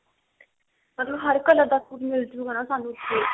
ਮਤਲਬ ਹਰ color ਦਾ ਸੂਟ ਮਿਲ੍ਜੁਗਾ ਨਾ ਸਾਨੂੰ ਉੱਥੇ